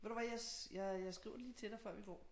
Ved du hvad jeg jeg jeg skriver det lige til dig før vi går